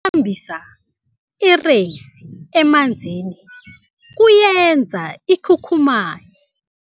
thambisa ireyisi emanzini kuyenza ikhukhumaye.